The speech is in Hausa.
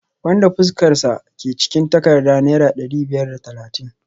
wanda fuskarsa ke cikin takardar naira dari biyar da talatin